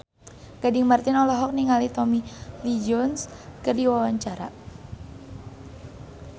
Gading Marten olohok ningali Tommy Lee Jones keur diwawancara